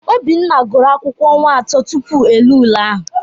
Obinna gụrụ akwụkwọ ọnwa atọ tupu e lee ule ahụ